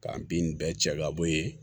K'an bin bɛɛ cɛ ka bɔ yen